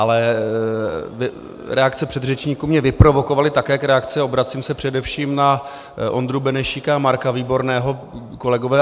Ale reakce předřečníků mě vyprovokovaly, tak jak reakce, obracím se především na Ondru Benešíka a Marka Výborného, kolegové.